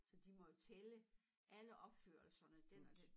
Så de må jo tælle alle opførelserne den og den